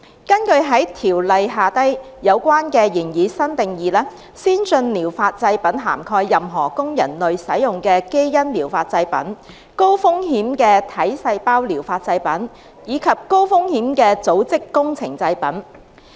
根據《條例》下有關的擬議新定義，先進療法製品涵蓋任何供人類使用的"基因療法製品"、高風險的"體細胞療法製品"，以及高風險的"組織工程製品"。